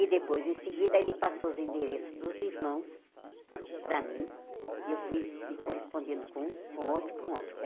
E depois, em seguida, ele passou os endereços dos irmãos para mim e eu fui me correspondendo com um, com outro, com outro.